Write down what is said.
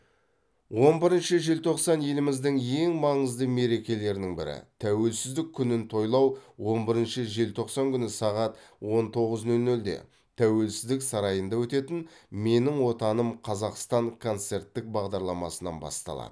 он бірінші желтоқсан еліміздің ең маңызды мерекелерінің бірі тәуелсіздік күнін тойлау он бірінші желтоқсан күні сағат он тоғыз нөл нөлде тәуелсіздік сарайында өтетін менің отаным қазақстан концерттік бағдарламасынан басталады